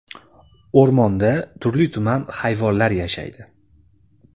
O‘rmonda turli-tuman hayvonlar yashaydi.